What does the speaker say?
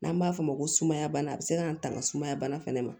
N'an b'a fɔ o ma ko sumaya bana a bɛ se k'an tanga sumaya bana fana ma